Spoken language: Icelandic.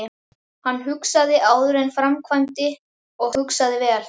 Hann hugsaði áður en hann framkvæmdi og hugsaði vel.